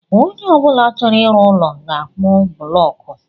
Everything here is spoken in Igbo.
Onye ọ bụla chọrọ ịrụ ụlọ ga akpu bụlọku